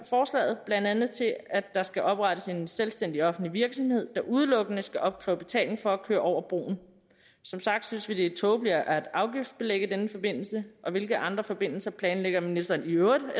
forslaget blandt andet til at der skal oprettes en selvstændig offentlig virksomhed der udelukkende skal opkræve betaling for at køre over broen som sagt synes vi det er tåbeligt at afgiftsbelægge denne forbindelse og hvilke andre forbindelser planlægger ministeren i øvrigt